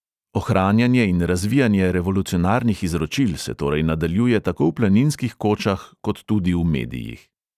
Ohranjanje in razvijanje revolucionarnih izročil se torej nadaljuje tako v planinskih kočah kot tudi v medijih.